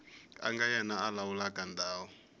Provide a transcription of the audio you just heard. nga yena a lawulaka ndhawu